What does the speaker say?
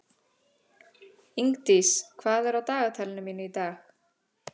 Ingdís, hvað er á dagatalinu mínu í dag?